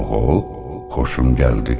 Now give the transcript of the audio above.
Oğul, xoşum gəldi.